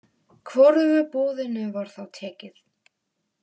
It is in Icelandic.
Hvorugu boðinu var þá tekið.